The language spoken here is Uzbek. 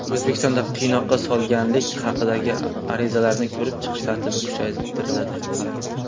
O‘zbekistonda qiynoqqa solganlik haqidagi arizalarni ko‘rib chiqish tartibi kuchaytiriladi.